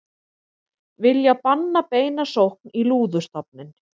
Vilja banna beina sókn í lúðustofninn